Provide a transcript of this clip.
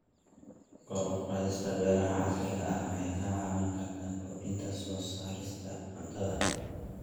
Kor u qaadista beeraha casriga ah waxay ka caawin kartaa kordhinta soo saarista cuntada.